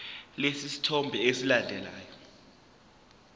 lesi sithombe esilandelayo